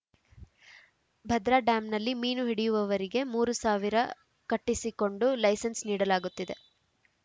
ಭದ್ರಾ ಡ್ಯಾಂನಲ್ಲಿ ಮೀನು ಹಿಡಿಯುವುವರಿಗೆ ಮೂರು ಸಾವಿರ ಕಟ್ಟಿಸಿಕೊಂಡು ಲೈಸನ್ಸ್‌ ನೀಡಲಾಗುತ್ತಿದೆ